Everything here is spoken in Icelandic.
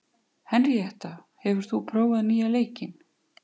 Henríetta, hefur þú prófað nýja leikinn?